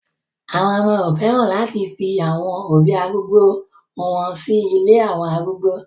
Àwọn ọmọ ò fẹ́ràn láti fi àwọn òbí arúgbó o wọn sí ilé àwọn arúgbó